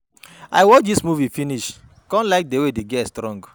I watch dis movie finish come like the way the girl strong.